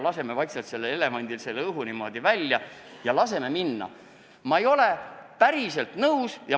Laseme nüüd vaikselt sellel elevandil õhu seest välja!